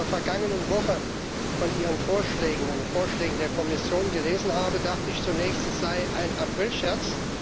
Als ich in der vergangenen Woche von Ihren Vorschlägen, den Vorschlägen der Kommission, gelesen habe, dachte ich zunächst, es sei ein Aprilscherz.